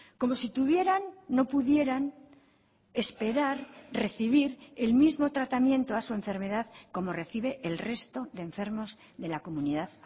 como si tuvieran no pudieran esperar recibir el mismo tratamiento a su enfermedad como recibe el resto de enfermos de la comunidad